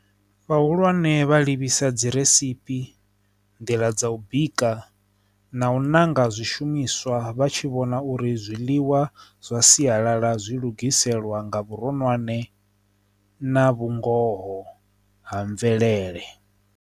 Vhahulwane vha livhisa dzi rasimphi nḓila dza u bika na u ṋanga zwishumiswa vha tshi vhona uri zwiḽiwa zwa sialala zwi lugiselwa nga vhuronwane na vhungoho ha mvelele.